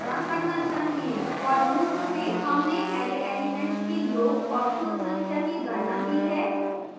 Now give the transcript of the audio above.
for loop में हमने array elements के योग और कुल संख्या की गणना की है